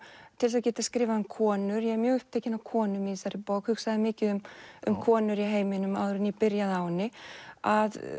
til þess að geta skrifað um konur ég er mjög upptekin af konum í þessari bók hugsaði mikið um um konur í heiminum áður en ég byrjaði á henni að